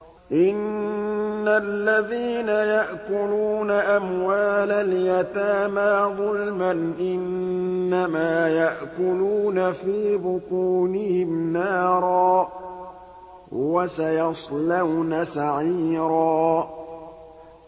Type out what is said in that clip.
إِنَّ الَّذِينَ يَأْكُلُونَ أَمْوَالَ الْيَتَامَىٰ ظُلْمًا إِنَّمَا يَأْكُلُونَ فِي بُطُونِهِمْ نَارًا ۖ وَسَيَصْلَوْنَ سَعِيرًا